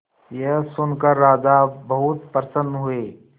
यह सुनकर राजा बहुत प्रसन्न हुए